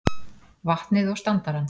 vatnið og standarann.